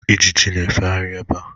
Ijiji na-efegharị ebea